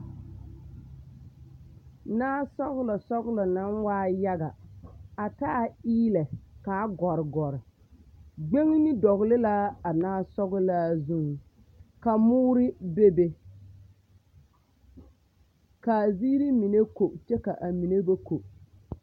Naasɔɡelɔsɔɡelɔ naa waa yaɡa a taa eelɛ kaa ɡɔreɡɔre ɡbeŋne dɔɡele la a naasɔɡelaa zuŋ ka moori bebe ka a ziiri mine ko kyɛ ka a mine ba ko.